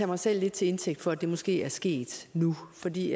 mig selv lidt til indtægt for at det måske er sket nu fordi